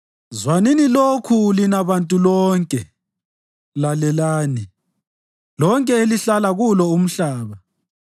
Zwanini lokhu lina bantu lonke; lalelani, lonke elihlala kulo umhlaba,